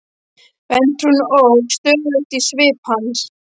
Vantrúin óx stöðugt í svip hans.